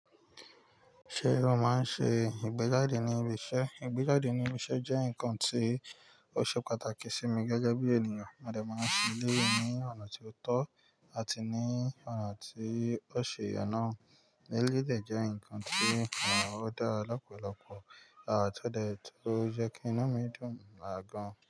Ṣé o máa ń ṣe ìgbéjáde ní ibi iṣẹ́? Ìgbéjáde ní ibi iṣẹ́ jẹ́ nǹkan tí ó ṣe pàtàkì sí mi gẹ́gẹ́ bí ènìyàn. Mo dẹ̀ máa ń ṣe elẹ́yìí ní ọ̀nà tí ó tọ́ àti ní ọ̀nà tí ó ṣi ye nà. Lélẹ̀dẹ̀ jẹ́ nǹkan tí ó dára lọ́pọ̀lọpọ̀, àmọ́ kó dẹ̀ tó jẹ́ kí iná mi dùn àgọ́n.